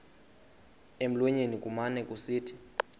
emlonyeni kumane kusithi